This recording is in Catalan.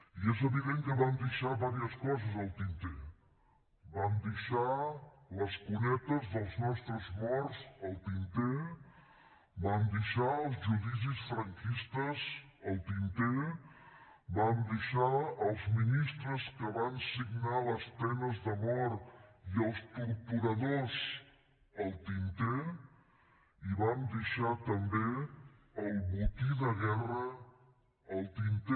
i és evident que vam deixar unes quantes coses al tinter vam deixar les cunetes dels nostres morts al tinter vam deixar els judicis franquistes al tinter vam deixar els ministres que van signar les penes de mort i els torturadors al tinter i vam deixar també el botí de guerra al tinter